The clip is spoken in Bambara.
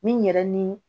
Min yɛrɛ ni